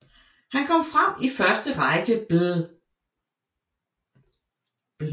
Han kom frem i første Række bl